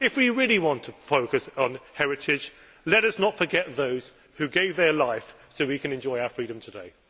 If we really want to focus upon heritage, let us not forgot those who gave their lives so that we can enjoy our freedom today.